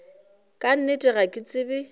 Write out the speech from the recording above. ka nnete ga ke tsebe